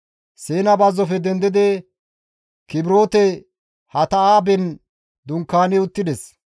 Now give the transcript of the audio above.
Siina bazzofe dendidi Kibroote-Hatta7aaben dunkaani uttides.